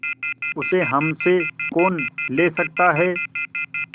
उसे हमसे कौन ले सकता है